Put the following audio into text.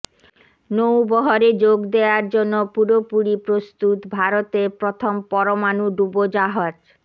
নৌবহরে যোগ দেয়ার জন্য পুরোপুরি প্রস্তুত ভারতের প্রথম পরমাণু ডুবোজাহাজ